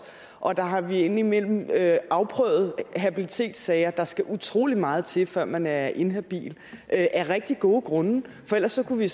og der har vi indimellem afprøvet habilitetssager der skal utrolig meget til før man er inhabil af rigtig gode grunde for ellers kunne vi